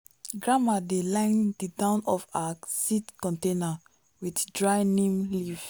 grandma dey line the down of her seed container with dry neem leaf.